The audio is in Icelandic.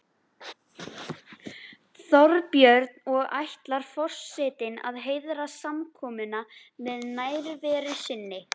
Þorbjörn: Og ætlar forsetinn að heiðra samkomuna með nærveru sinni?